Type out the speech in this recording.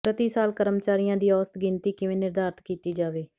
ਪ੍ਰਤੀ ਸਾਲ ਕਰਮਚਾਰੀਆਂ ਦੀ ਔਸਤ ਗਿਣਤੀ ਕਿਵੇਂ ਨਿਰਧਾਰਤ ਕੀਤੀ ਜਾਵੇ